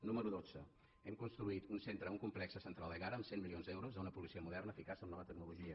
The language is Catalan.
número dotze hem construït un centre un complex central a egara amb cent milions d’euros d’una policia moderna eficaç amb nova tecnologia